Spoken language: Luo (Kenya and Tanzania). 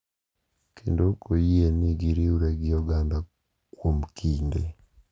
Kendo ok oyie ni giriwre gi oganda kuom kinde.